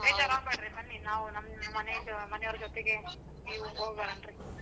ಬೇಜಾರ್ ಆಗ್ಬೇಡ್ರಿ ಬನ್ನಿ ನಾವು ನಮ್ಮ್ ಮನೆದು~ ಮನೆವರ್ ಜೊತೆಗೆ ಹೋಗೋಣರೀ.